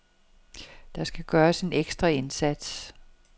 Der skal gøres en ekstra indsats.